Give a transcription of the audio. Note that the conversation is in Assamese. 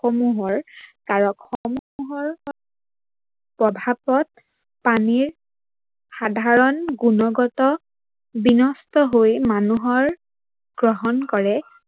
সমূহৰ কাৰক সমূহৰ প্ৰভাৱত পানীৰ সাধাৰন গুনগত বিনষ্ট হৈ মানুহৰ গ্ৰহন কৰে